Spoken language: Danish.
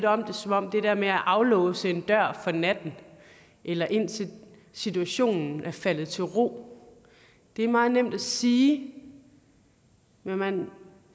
om det som om det der med at aflåse en dør for natten eller indtil situationen er faldet til ro er meget nemt at sige men man